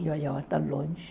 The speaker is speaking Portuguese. E eu olhava tão longe.